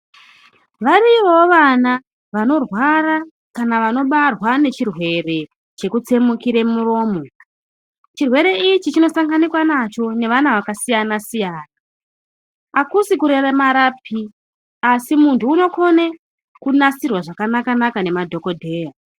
Variyowo vana vanorwara kana vanobarwa nechirwere chekutsemukire muromo. Chirwere ichi chinosanganikwa nacho nevana vakasiyana-siyana. Hakusi kuremarapi, asi muntu unokone kunasirwa zvakanaka-naka nemadhogodheya.